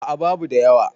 a a babu da yawa